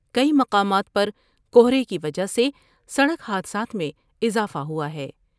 کئی مقامات پر کہرے کی وجہ سے سڑک حادثات میں اضافہ ہوا ہے ۔